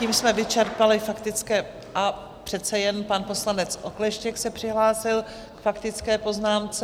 Tím jsme vyčerpali faktické - a přece jen, pan poslanec Okleštěk se přihlásil k faktické poznámce.